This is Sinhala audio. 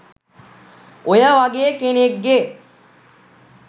ඔය වගේ කෙනෙක් ගේ